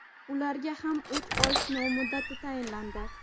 ularga ham uch oy sinov muddati tayinlandi.